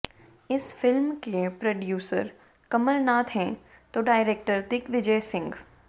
इस फिल्म के प्रोड्यूसर कमलनाथ हैं तो डायरेक्टर दिग्विजय सिंह